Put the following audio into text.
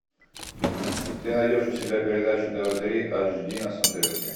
ты найдешь у себя передачу тв три аш ди на смотрешке